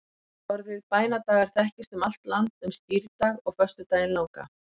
orðið bænadagar þekkist um allt land um skírdag og föstudaginn langa